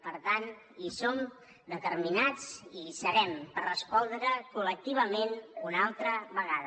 per tant hi som determinats i hi serem per respondre col·lectivament una altra vegada